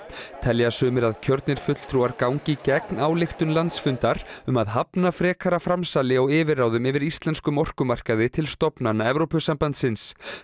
telja sumir að kjörnir fulltrúar gangi gegn ályktun landsfundar um að hafna frekara framsali á yfirráðum yfir íslenskum orkumarkaði til stofnana Evrópusambandsins